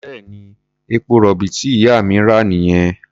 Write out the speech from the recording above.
Bẹ́ẹ̀ni, epo-rọ̀bì tí ìyá mi rà nìyẹn.